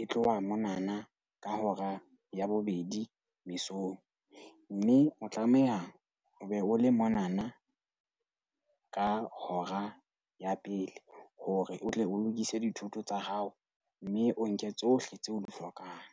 e tloha monana ka hora ya bobedi mesong. Mme o tlameha o be o le monana ka hora ya pele hore o tle o lokise dithoto tsa hao, mme o nke tsohle tseo o di hlokang.